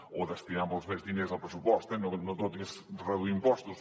o destinar molts més diners al pressupost eh no tot és reduir impostos